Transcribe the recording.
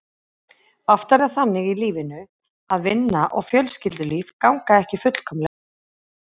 Oft er það þannig í lífinu að vinna og fjölskyldulíf ganga ekki fullkomlega upp.